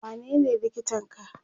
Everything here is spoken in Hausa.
wanene likitan ka?